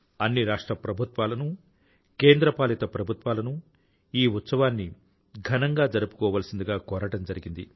అన్ని రాష్ట్ర ప్రభుత్వాలనూ కేంద్ర పాలిత ప్రభుత్వాలను ఈ ఉత్సవాన్ని ఘనంగా జరుపుకోవాల్సిందిగా కోరడం జరిగింది